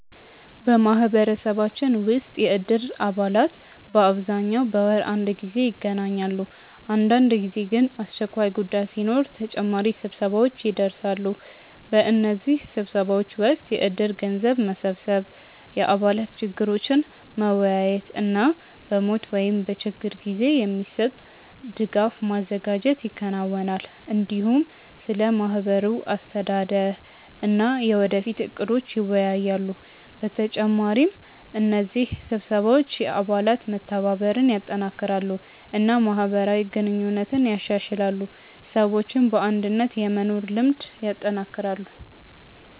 በማህበረሰባችን ውስጥ የእድር አባላት በአብዛኛው በወር አንድ ጊዜ ይገናኛሉ። አንዳንድ ጊዜ ግን አስቸኳይ ጉዳይ ሲኖር ተጨማሪ ስብሰባዎች ይደርሳሉ። በእነዚህ ስብሰባዎች ወቅት የእድር ገንዘብ መሰብሰብ፣ የአባላት ችግሮችን መወያየት እና በሞት ወይም በችግር ጊዜ የሚሰጥ ድጋፍ ማዘጋጀት ይከናወናል። እንዲሁም ስለ ማህበሩ አስተዳደር እና የወደፊት እቅዶች ይወያያሉ። በተጨማሪ እነዚህ ስብሰባዎች የአባላት መተባበርን ያጠናክራሉ እና ማህበራዊ ግንኙነትን ያሻሽላሉ፣ ሰዎችም በአንድነት የመኖር ልምድ ያጠናክራሉ።